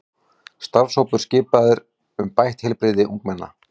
Starfshópur skipaður um bætt heilbrigði ungmenna